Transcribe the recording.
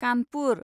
Kanpur